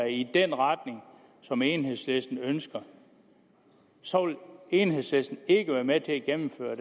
i den retning som enhedslisten ønsker så vil enhedslisten ikke være med til at gennemføre